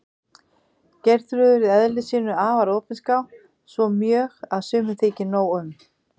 Geirþrúður í eðli sínu afar opinská, svo mjög að sumum þykir nóg um.